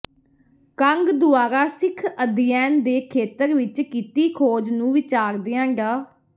ਕੰਗ ਦੁਆਰਾ ਸਿੱਖ ਅਧਿਐਨ ਦੇ ਖੇਤਰ ਵਿੱਚ ਕੀਤੀ ਖੋਜ ਨੂੰ ਵਿਚਾਰਦਿਆਂ ਡਾ